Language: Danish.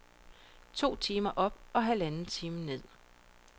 To timer op og halvanden time ned.